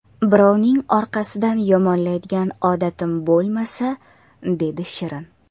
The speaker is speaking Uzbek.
Birovni orqasidan yomonlaydigan odatim bo‘lmasa”, dedi Shirin.